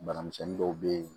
Bana misɛnnin dɔw bɛ yen